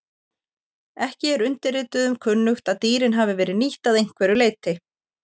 ekki er undirrituðum kunnugt að dýrin hafi verið nýtt að einhverju leyti